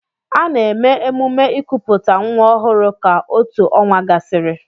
Ana-eme emume ikuputa nwa ọhụrụ ka otù ọnwa gasịrị.